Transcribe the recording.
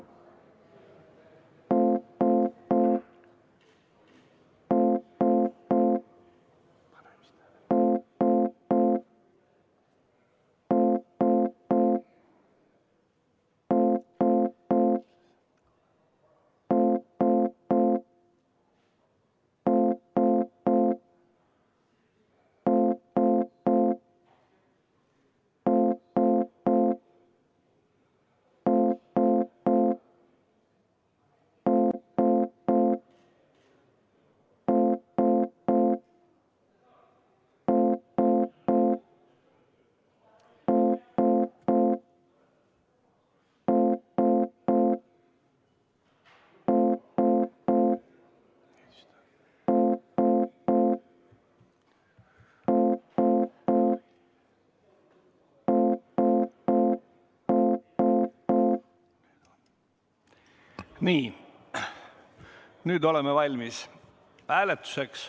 Nii, nüüd oleme valmis hääletuseks.